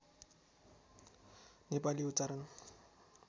नेपाली उच्चारण